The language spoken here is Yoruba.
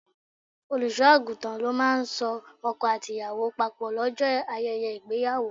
Olùṣọ́-àgùntàn ló máa ń so ọkọ àti ìyàwó papò lọ́jọ́ ayẹyẹ ìgbéyàwó.